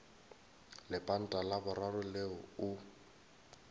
lepanta la boraro leo o